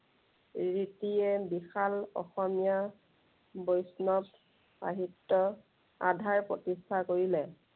ৰীতিয়ে বিশাল অসমীয়া, বৈষ্ণৱ সাহিত্য়ৰ আধাৰ প্ৰতিষ্ঠা কৰিলে।